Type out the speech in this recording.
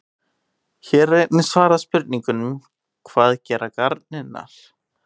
Hér er einnig svarað spurningunum: Hvað gera garnirnar?